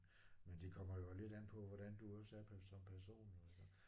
Men det kommer jo også lidt an på hvordan du også er per som person altså